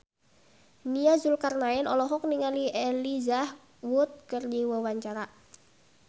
Nia Zulkarnaen olohok ningali Elijah Wood keur diwawancara